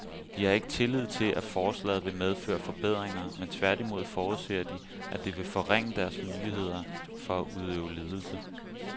De har ikke tillid til, at forslaget vil medføre forbedringer, men tværtimod forudser de, at det vil forringe deres muligheder for at udøve ledelse.